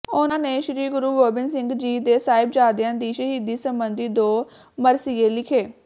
ਉਹਨਾਂ ਨੇ ਸ਼੍ਰੀ ਗੁਰੂ ਗੋਬਿੰਦ ਸਿੰਘ ਜੀ ਦੇ ਸਾਹਿਬਜ਼ਾਦਿਆਂ ਦੀ ਸ਼ਹੀਦੀ ਸੰਬੰਧੀ ਦੋ ਮਰਸੀਏ ਲਿਖੇ